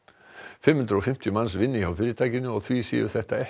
fimm hundruð og fimmtíu manns vinni hjá fyrirtækinu og því séu þetta ekki